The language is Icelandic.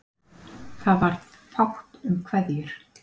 Það varð fátt um kveðjur.